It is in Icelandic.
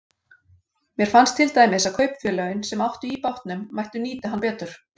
Mér fannst til dæmis að kaupfélögin, sem áttu í bátnum, mættu nýta hann betur.